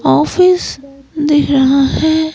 Office दिख रहा है।